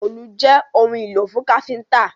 Òòlù jé òun ìlò fún káfínńtà!